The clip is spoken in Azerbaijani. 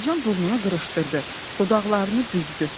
Mərcan burnunu qırışdırdı, dodaqlarını büzdü.